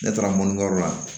Ne taara mɔnikɛyɔrɔ la